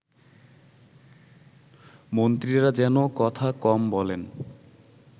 মন্ত্রীরা যেন কথা কম বলেন